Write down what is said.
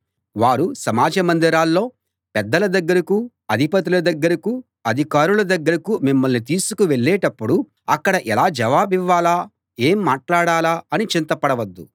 వారు సమాజమందిరాల్లో పెద్దల దగ్గరకూ అధిపతుల దగ్గరకూ అధికారుల దగ్గరకూ మిమ్మల్ని తీసుకు వెళ్ళేటప్పుడు అక్కడ ఎలా జవాబివ్వాలా ఏం మాట్లాడాలా అని చింత పడవద్దు